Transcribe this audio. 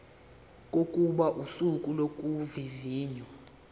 kokuba usuku lokuvivinywa